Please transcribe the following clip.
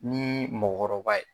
Nii mɔɔkɔrɔba ye